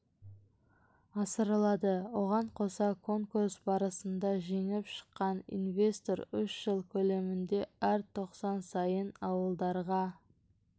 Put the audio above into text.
асырылады оған қоса конкурс барысында жеңіп шыққан инвестор үш жыл көлемінде әр тоқсан сайын ауылдарға